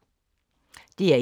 DR1